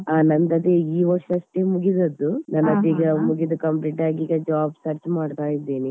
ಹ ನಂದದೆ ಈ ವರ್ಷ ಅಷ್ಟೆ ಮುಗಿದದ್ದು ನಂದೀಗ ಮುಗಿದು complete ಆಗಿ ಈಗ job search ಮಾಡ್ತಾ ಇದ್ದೇನೆ